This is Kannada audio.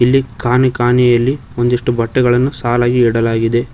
ಇಲ್ಲಿ ಕಾನಿ ಕಾನಿಯಲ್ಲಿ ಒಂದಿಷ್ಟು ಬಟ್ಟೆಗಳನ್ನು ಸಾಲಾಗಿ ಇಡಲಾಗಿದೆ.